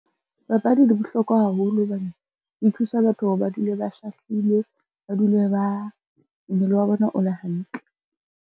Papadi di bohlokwa haholo hobane, di thusa batho hore ba dule ba shahlile, mmele wa bona o le hantle.